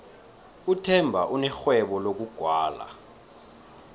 uthemba unerhwebo lokugwala